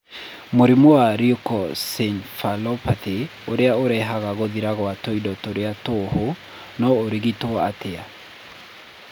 Mũrimũ wa leukoencephalopathy ũrĩa ũrehaga gũthira kwa tũindo tũrĩa tũhũ no ũrigitwo atĩa?